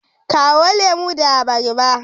Kawo lemu da abarba.